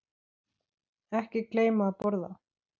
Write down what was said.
Ekki gleyma að borða.